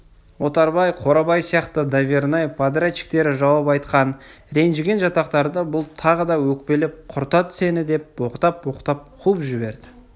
отарбай қорабай сияқты давернай подрядчиктері жауап айтқан ренжіген жатақтарды бұл тағы өкпелеп құртады сені деп боқтап-боқтап қуып жібереді